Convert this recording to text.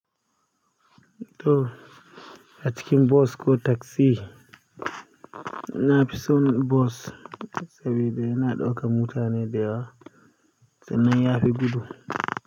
To, a cikin bos ko taksi, na fi son bos saboda yana ɗaukar mutane da yawa sannan ya fi gudu.